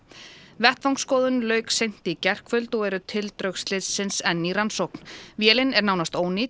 vettvangsskoðun lauk seint í gærkvöld og eru tildrög slyssins enn í rannsókn vélin er nánast ónýt